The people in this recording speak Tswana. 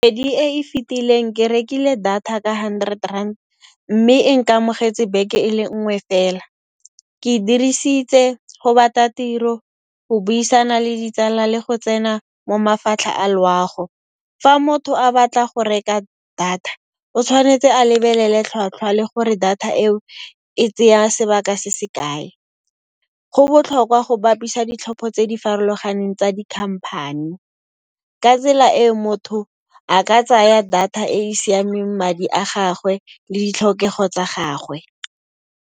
Kgwedi e e fitileng ke rekile data ka hundred rand mme e nkamogetse beke e le nngwe fela. Ke e dirisitse go batla tiro, go buisana le ditsala le go tsena mo mafatlha a loago. Fa motho a batla go reka data o tshwanetse a lebelele tlhwatlhwa le gore data eo e tsaya sebaka se se kae. Go botlhokwa go bapisa ditlhopho tse di farologaneng tsa di company. Ka tsela e motho a ka tsaya data e e siameng madi a gagwe le ditlhokego tsa gagwe.